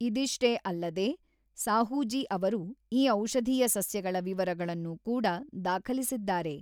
ಇದಿಷ್ಟೇ ಅಲ್ಲದೆ ಸಾಹೂಜೀ ಅವರು ಈ ಔಷಧೀಯ ಸಸ್ಯಗಳ ವಿವರಗಳನ್ನು ಕೂಡ ದಾಖಲಿಸಿದ್ದಾರೆ.